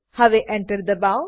હવે Enter દબાવો